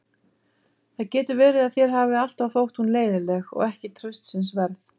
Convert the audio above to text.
Það getur verið að þér hafi alltaf þótt hún leiðinleg og ekki traustsins verð.